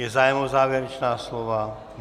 Je zájem o závěrečná slova?